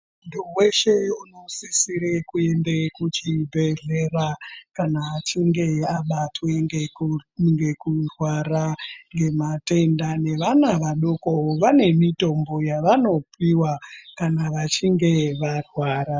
Muntu weshe unosisira kuende kuchibhedhlera kana achinge abatwa ngekurwara ngematenda nevana vadoko vane mitombo yavanopiwa kana vachinge varwara.